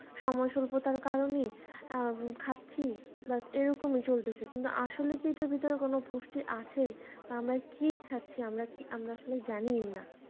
সময় স্বল্পতার কারণে খাচ্ছি but এরকমই চলতেছে কিন্তু আসলে যে এইটার ভেতরে কোন পুষ্টি আছে আমরা কি খাচ্ছি আমরা আমরা কি আমরা আসলে জানিই না.